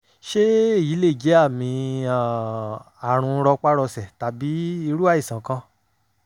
ṣé èyí lè jẹ́ àmì um àrùn rọpárọsẹ̀ tàbí irú àìsàn kan?